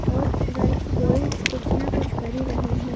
और girls boys कुछ ना कुछ कर ही रहे हैं।